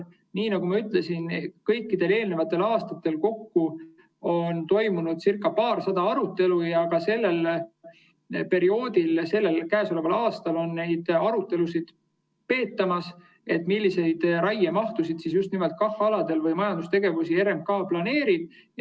Nii nagu ma ütlesin, kõikidel eelnevatel aastatel kokku on toimunud paarsada arutelu ja ka sellel, käesoleval aastal neid arutelusid peetakse, millist raiemahtu või millist majandustegevust just nimelt KAH‑aladel RMK planeerib.